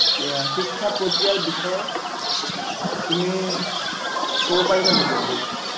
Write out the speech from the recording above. শিক্ষা প্ৰক্ৰিয়াৰ বিষয়ে তুমি কব পাৰিবা নেকি অলপ?